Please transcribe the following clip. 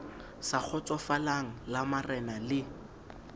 sa kgotsofalang la marenana le